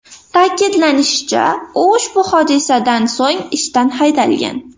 Ta’kidlanishicha, u ushbu hodisadan so‘ng ishdan haydalgan.